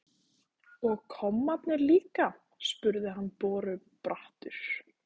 Og kommarnir líka? spurði hann borubrattur.